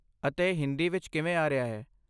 ਅਤੇ ਇਹ ਹਿੰਦੀ ਵਿੱਚ ਕਿਵੇਂ ਆ ਰਿਹਾ ਹੈ?